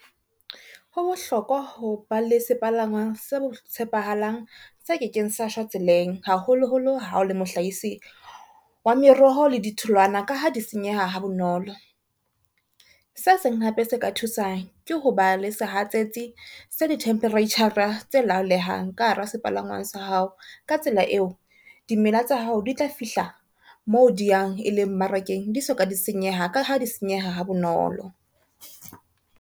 Ho bohlokwa ho ba le sepalangwang se tshepahalang se kekeng sa shwa tseleng, haholoholo ha o le mohlahisi wa meroho le ditholwana ka ha di senyeha ha bonolo. Se seng hape se ka thusang ke hoba le sehatsetsi sa di-temperature-ra tse laolehang ka hara sepalangwang sa hao. Ka tsela eo, dimela tsa hao di tla fihla moo di yang e leng mmarakeng di soka di senyeha, ka ha di senyeha ha bonolo.